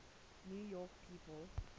new york people